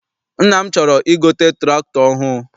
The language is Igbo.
Nna m chọrọ I gote tụractọr ọhụụ.